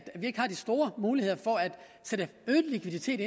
vi ikke har de store muligheder for at sætte øget likviditet